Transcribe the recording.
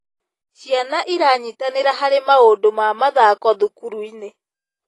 Ciana ĩranyitanĩra harĩ maũndũ ma mathako thukuru-inĩ.